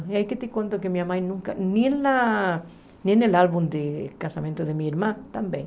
E aí que te conto que minha mãe nunca, nem na nem no álbum de casamento de minha irmã, também.